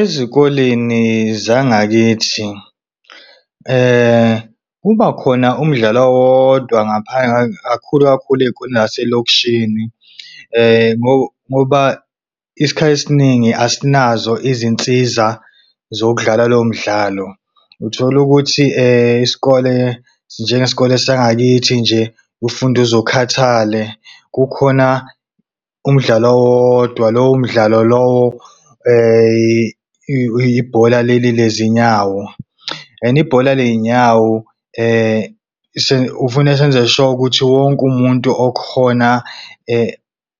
Ezikoleni zangakithi kuba khona umdlalo owodwa kakhulu kakhulu naselokishini, ngoba isikhathi esiningi asinazo izinsiza zokudlala lowo mdlalo. Uthola ukuthi isikole, njengesikole sangakithi nje ufunde uze ukhathale kukhona umdlalo owodwa lowo umdlalo lowo ibhola lezinyawo. And ibhola leyinyawo kufuneka senze sure ukuthi wonke umuntu okhona